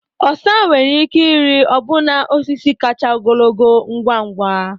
Osa nwere ike ịrị ọbụna osisi kacha ogologo ngwa ngwa.